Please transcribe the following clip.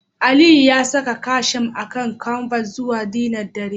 Aliyu ya saka casheme akan canvas zuwa dinner dare